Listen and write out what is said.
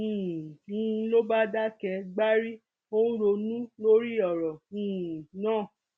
um n ló bá dákẹ gbárí ó ń ronú lórí ọrọ um náà